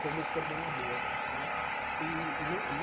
como coordenador né. E ne